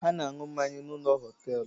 Ha na-aṅu mmanya n’ ụlọ họtelụ